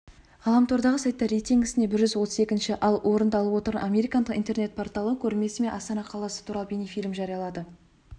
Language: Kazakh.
ғаламтордағы сайттар рейтингісінде бір жүз отыз екінші ал орынды алып отырған американдық интернет порталы көрмесі мен астана қаласы туралы бейнефильм жариялады